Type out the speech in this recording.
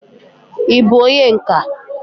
ị bụ onye nka?